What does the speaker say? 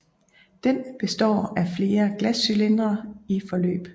Den består af flere glascylindre i forløb